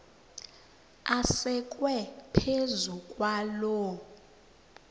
asekwe phezu kwaloo